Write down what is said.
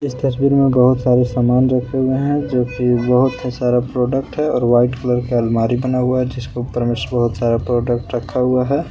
इस तस्वीर में बहुत सारे सामान रखे हुए हैं जो की बहुत ही सारा प्रोडक्ट है और वाइट कलर के अलमारी बना हुआ है जिसके ऊपर बहुत सारा प्रोडक्ट रखा हुआ है।